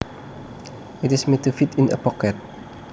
It is made to fit in a pocket